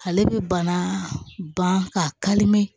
Ale bɛ bana ban ka kalimɛ